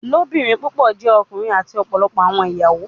Ilobirin pupọ jẹ ọkunrin ati ọpọlọpọ awọn iyawo